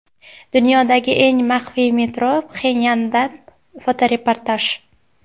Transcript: Dunyodagi eng maxfiy metro: Pxenyandan fotoreportaj.